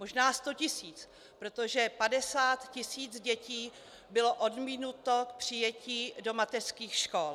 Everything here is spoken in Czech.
Možná 100 tisíc, protože 50 tisíc dětí bylo odmítnuto k přijetí do mateřských škol.